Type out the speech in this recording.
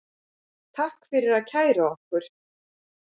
Takk fyrir að kæra okkur